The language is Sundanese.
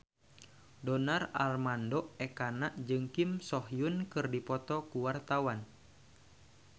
Donar Armando Ekana jeung Kim So Hyun keur dipoto ku wartawan